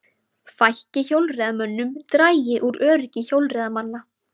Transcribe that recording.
Fækki hjólreiðamönnum dragi úr öryggi hjólreiðamanna